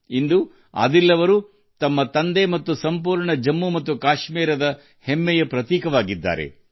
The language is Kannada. ಇಂದು ಆದಿಲ್ ತನ್ನ ತಂದೆ ಮತ್ತು ಇಡೀ ಜಮ್ಮುಕಾಶ್ಮೀರಕ್ಕೆ ಹೆಮ್ಮೆ ತಂದಿದ್ದಾರೆ